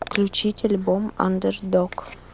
включить альбом андердог